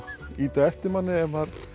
ýta á eftir manni ef maður